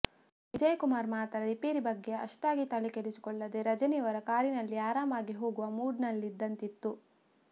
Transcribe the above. ವಿಜಯಕುಮಾರ್ ಮಾತ್ರ ರಿಪೇರಿ ಬಗ್ಗೆ ಅಷ್ಟಾಗಿ ತಲೆಕೆಡಿಸಿಕೊಳ್ಳದೇ ರಜನಿಯವರ ಕಾರಿನಲ್ಲಿ ಆರಾಮಾಗಿ ಹೋಗುವ ಮೂಡ್ನಲ್ಲಿದ್ದಂತಿತ್ತು